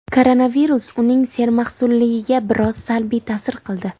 Koronavirus uning sermahsulligiga biroz salbiy ta’sir qildi.